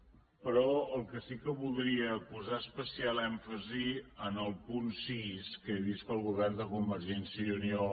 però el que sí que voldria és posar especial èmfasi en el punt sis que he vist que el govern de convergència i unió